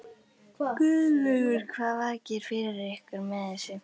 Guðlaugur, hvað vakir fyrir ykkur með þessu?